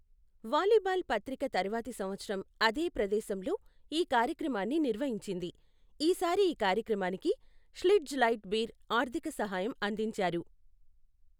Volleyball పత్రిక తర్వాతి సంవత్సరం అదే ప్రదేశంలో ఈ కార్యక్రమాన్ని నిర్వహించింది, ఈసారి ఈ కార్యక్రమానికి ష్లిట్జ్ లైట్ బీర్ ఆర్ధిక సహాయం అందించారు.